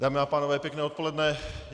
Dámy a pánové, pěkné odpoledne.